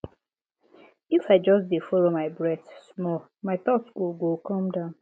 if i just dey follow my breath small my thoughts go go calm down